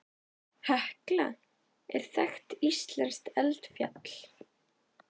Hekla er þekkt íslenskt eldfjall.